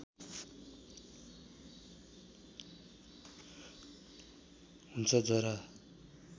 हुन्छ जरा